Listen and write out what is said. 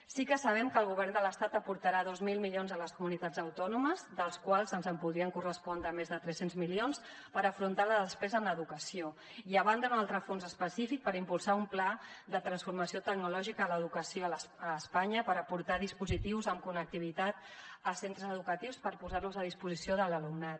sí que sabem que el govern de l’estat aportarà dos mil milions a les comunitats autònomes dels quals ens podrien correspondre més de tres cents milions per afrontar la despesa en educació i a banda un altre fons específic per impulsar un pla de transformació tecnològica d’educació a espanya per aportar dispositius amb connectivitat a centres educatius per posar los a disposició de l’alumnat